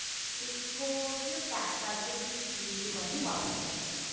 ਇੱਕੋ ਉਹ ਚ pack ਕਰਕੇ please delivery boy ਨੂੰ ਵਾਪਿਸ ਕਰ ਦੇਣਾ